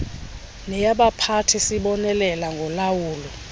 neyabaphathi sibonelelo ngolawulo